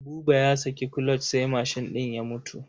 Buba ya saki kuloc sai mashin ɗin ya mutu.